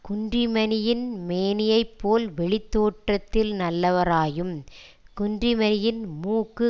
குன்றிமணியின் மேனியைப் போல் வெளித் தோற்றத்தில் நல்லவராயும் குன்றிமணியின் மூக்கு